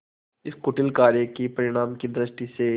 इस कुटिल कार्य के परिणाम की दृष्टि से